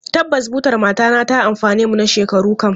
Tabbas, butar matana ta amfane mu na shekaru kam.